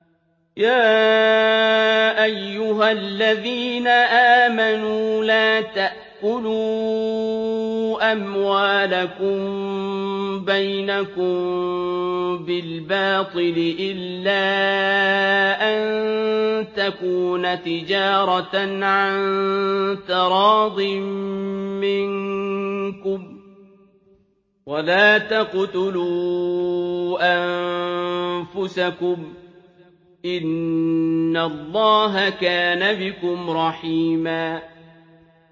يَا أَيُّهَا الَّذِينَ آمَنُوا لَا تَأْكُلُوا أَمْوَالَكُم بَيْنَكُم بِالْبَاطِلِ إِلَّا أَن تَكُونَ تِجَارَةً عَن تَرَاضٍ مِّنكُمْ ۚ وَلَا تَقْتُلُوا أَنفُسَكُمْ ۚ إِنَّ اللَّهَ كَانَ بِكُمْ رَحِيمًا